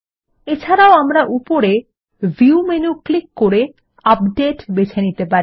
এছাড়াও আমরা উপরে ভিউ মেনু ক্লিক করে আপডেট বেছে নিতে পারি